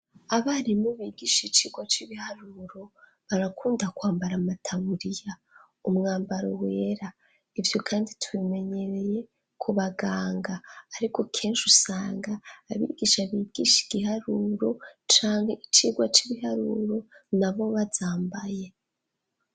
Abarimu bigisha icigwa c'ibiharuro, barakunda kwambara amataburiya. Umwambaro wera ivyo kandi tubimenyereye ku baganga. Ariko kenshi usanga abigisha bigisha igiharuro canga icigwa c'ibiharuro na bo bazambaye.